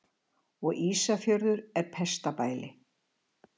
Og Ísafjörður er pestarbæli.